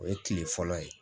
O ye kile fɔlɔ ye